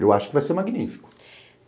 Eu acho que vai ser magnífico.